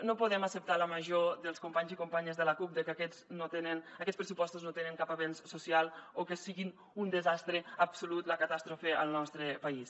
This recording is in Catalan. no podem acceptar la major dels companys i companyes de la cup de que aquests pressupostos no tenen cap avenç social o que siguin un desastre absolut la catàstrofe al nostre país